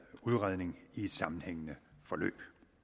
udredning i et sammenhængende forløb